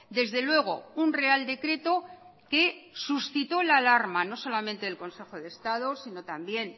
desde luego un real decreto que suscitó la alarma no solamente del consejo de estado sino también